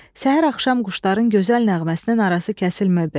Səhər-axşam quşların gözəl nəğməsinin arası kəsilmirdi.